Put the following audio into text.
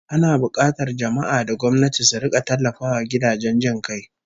Ana bukatar jama'a da gwamnati su rika tallafawa gidajen jin kai